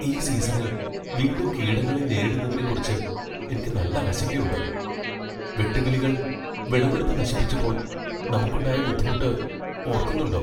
ഈ സീസണിൽ വീണ്ടും കീടങ്ങളെ നേരിടുന്നതിനെക്കുറിച്ചു എനിക്ക് നല്ല ആശങ്കയുണ്ട്. വെട്ടുക്കിളികൾ വിളവെടുപ്പ് നശിപ്പിച്ചപ്പോൾ നമുക്കുണ്ടായ ബുദ്ധിമുട്ട് ഓർക്കുന്നുണ്ടോ?